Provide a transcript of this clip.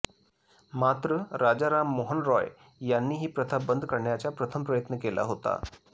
मात्र राजाराम मोहन रॉय यांनी ही प्रथा बंद करण्याचा प्रथम प्रयत्न केला होता